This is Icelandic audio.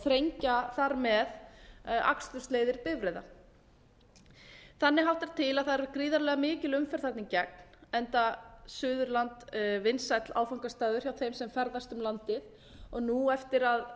þrengja þar með akstursleiðir bifreiða þannig háttar til að það er gríðarlega mikil umferð þarna í gegn enda suðurland vinsæll áfangastaður hjá þeim sem ferðast um landið og nú eftir að